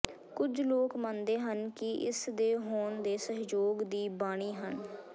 ਕੁਝ ਲੋਕ ਮੰਨਦੇ ਹਨ ਕਿ ਇਸ ਦੇ ਹੋਣ ਦੇ ਸਹਿਯੋਗ ਦੀ ਬਾਨੀ ਹਨ